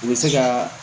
U bɛ se ka